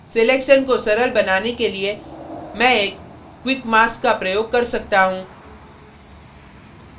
selection को सरल बनाने के लिए मैं एक quick mask का प्रयोग कर सकता हूँ